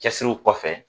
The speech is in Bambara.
Cɛsiriw kɔfɛ